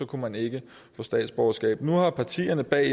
kunne man ikke få statsborgerskab nu har partierne bag